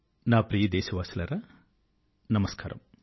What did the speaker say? నా ప్రియమైన దేశవాసులారా నమస్కారము